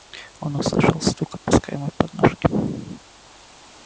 он услышал стук опускаемой подножки